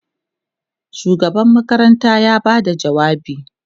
shugaban makaranta ya Bada jawabi